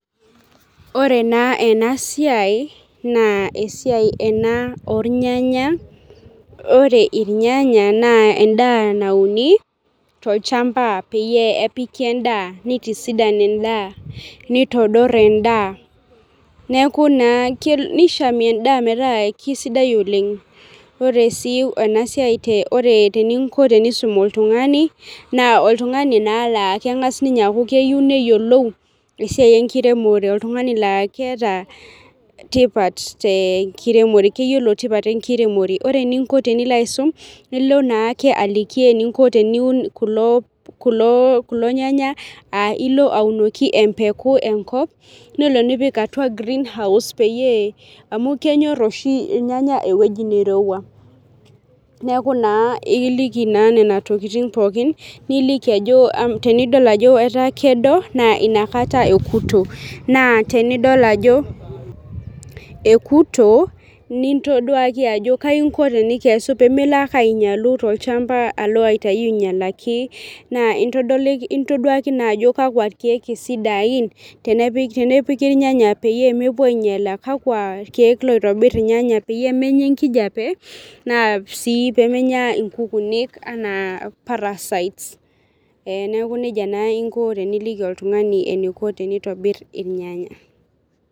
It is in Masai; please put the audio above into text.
Ore naa ena siai, esiai ena irnyanya, ore irnyanya, naa edaa nauni tolchampa peyie epiki edaa nitisudan edaa, nitodor edaa. Nishamie edaa metaa kisaidia oleng, ore sii ena siai eninko tenisum oltungani, na oltungani naa laa keng'as ninye aaku keyieu neyiolou, esiai enkiremore oltungani laa keeta, tipat tenkiremore, keyiolo tipat enkiremore, ore. eninko tenilo aisum, ilo naake aliki eninko teniun kulo nyanya, aa ilo aunoki empeku enkop nelo nipik atua greenhouse peyie, amu kenyor oshi ilnyanya ewueji nirowua, neeku naa ekiliki naa Nena tokitin pookin, nikiliki ajo, tenidol ajo etaa kedo naa inakata ekuto, naa tenidol ajo ekuto, nintoduaki ajo kaji inko tenikesu pee Milo ake aikesu tolchampa, alo aitayu aingialaki, naa intoduaki naa ajo, kakua keeku isidain, tenepiki ilnyanya peyie mepuo aingiala, kakua keeku loingiel irnyanya peyie menya enkijipa naa kakua sii, pee menya nkukunik anaa parasites